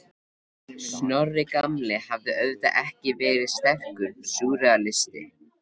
Snorri gamli hafði auðvitað ekki verið sterkur súrrealisti.